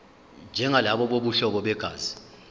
njengalabo bobuhlobo begazi